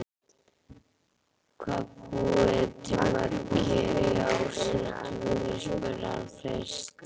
Hvað búið þið mörg hér í Ásatúni? spurði hann fyrst.